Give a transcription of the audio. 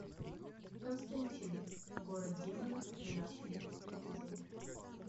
константин город демонов тринадцатый эпизод